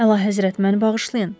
Əlahəzrət, məni bağışlayın.